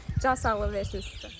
Allah can sağlığı versin sizə.